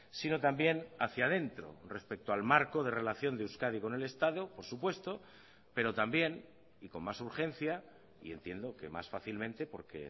sino también hacia adentro respecto al marco de relación de euskadi con el estado por supuesto pero también y con más urgencia y entiendo que más fácilmente porque